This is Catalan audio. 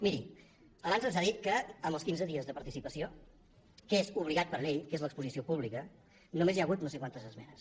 miri abans ens ha dit que amb els quinze dies de participació que és obligat per llei que és l’exposició pública només hi hagut no sé quantes esmenes